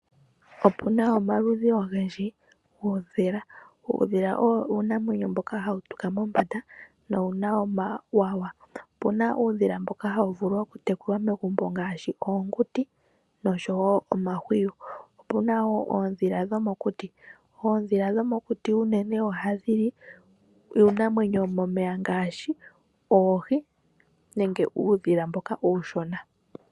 Opena omaludhi ogendji guudhila. Uudhila owo uunamwenyo mboka hawu tuka mombanda no wuna omawawa. Opuna uudhila mboka hawu vulu okutekulwa megumbo, ngaashi oonguti noshowo omahwiyu. Opuna wo oodhila dhomokuti. Oodhila dhomokuti unene ohadhi li uunamwenyo womomeya ngaashi oohi nenge uudhila mboka uushona.